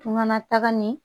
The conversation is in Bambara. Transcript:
Tunga taga ni